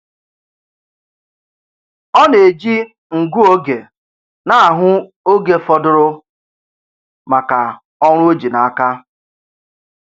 Ọ na-eji ngụ oge na-ahụ oge fọdụrụ maka ọrụ o ji n'aka.